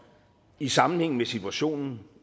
i sammenhæng med situationen